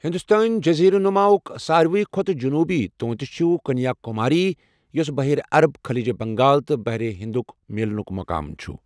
ہندوستٲنۍ جٔزیٖرٕ نُما ہُک ساروی کھوتہٕ جنوبی تونٛتھ چھِ کنیا کُماری یوٚس بَحیرہ عرب، خلیج بنگال تہٕ بحر ہندُک میلنُک مُقام چھُ۔